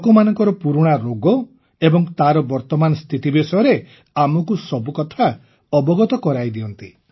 ଲୋକମାନଙ୍କର ପୁରୁଣା ରୋଗ ଏବଂ ତାର ବର୍ତମାନର ସ୍ଥିତି ବିଷୟରେ ଆମକୁ ସବୁକଥା ଅବଗତ କରାଇଦିଅନ୍ତି